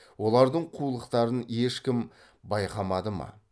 олардың қулықтарын ешкім байқамады ма